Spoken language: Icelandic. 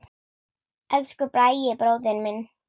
Elsku Bragi bróðir minn.